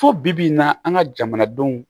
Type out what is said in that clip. Fo bi n na an ka jamanadenw